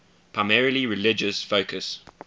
primarily religious focus